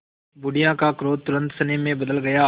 बुढ़िया का क्रोध तुरंत स्नेह में बदल गया